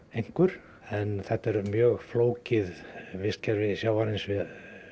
einhver en þetta er mjög flókið vistkerfi sjávarins við